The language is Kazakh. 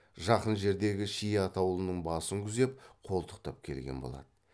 жақын жердегі ши атаулының басын күзеп қолтықтап келген болады